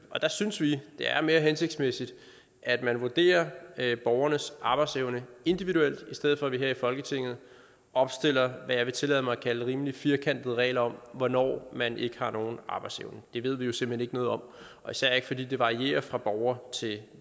der synes vi det er mere hensigtsmæssigt at man vurderer borgernes arbejdsevne individuelt i stedet for at vi her i folketinget opstiller hvad jeg vil tillade mig at kalde rimelig firkantede regler om hvornår man ikke har nogen arbejdsevne det ved vi jo simpelt hen ikke noget om og især ikke fordi det varierer fra borger til